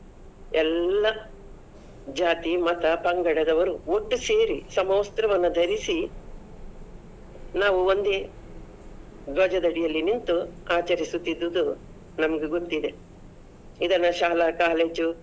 ಎಲ್ಲಾ ಜಾತಿ, ಮತ, ಪಂಗಡದವರು ಒಟ್ಟುಸೇರಿ ಸಮವಸ್ತ್ರವನ್ನ ಧರಿಸಿ ನಾವು ಒಂದೇ ಧ್ವಜದಡಿಯಲ್ಲಿ ನಿಂತು ಅಚರಿಸುತೀದುದ್ದು ನಮ್ಗೆ ಗೊತ್ತಿದೆ ಇದನ್ನ ಶಾಲಾ college ಉ .